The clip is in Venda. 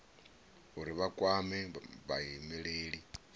uri vha kwame vhaimeleli vha